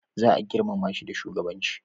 za a girmama shi da shugabanci